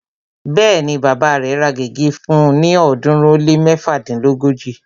Bẹ́ẹ̀ni, bàbá rẹ̀ ra gègé rẹ̀ fún ni ọ̀ọ́dúnrún ó lé méfadínlógóji